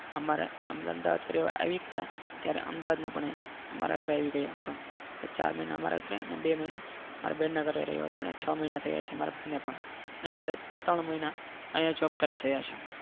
અમારા અમદાવાદ રહેવા આવી ગયા ત્યારે અમદાવાદમાં પણ મારા ઘરે આવી ગયો હતો તો ચાર મહિના મારા ઘરે અને બે મહિના મારે બેનના ઘરે રહેતો અને છ મહિના થયા છે મારા ભાઈને પણ અને મારે ત્રણ મહિના અહીંયા જોબ કરે થયા છે.